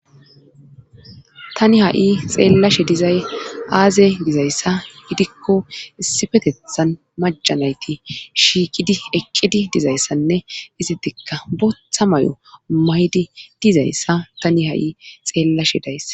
tani ha7i xeellashe dizay aaze gizayssa gidikko isifetethan majanayti shiikidi eqqidi dizayssanne izitikka botha may7o mayidi dizayssa tani ha7i xeellashe dayssa